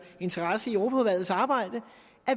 interesse i europaudvalgets arbejde